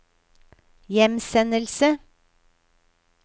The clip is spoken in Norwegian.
hjemsendelse